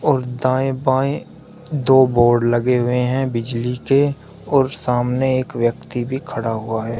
और दाएं बाएं दो बोर्ड लगे हुए हैं बिजली के और सामने एक व्यक्ति भी खड़ा हुआ है।